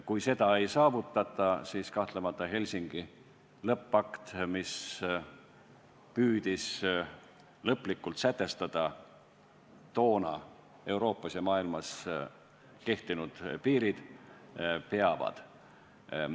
Kui nõusolekut ei saavutata, siis Helsingi lõppakt, mis püüdis lõplikult sätestada toona Euroopas ja maailmas kehtinud piirid, kahtlemata peab.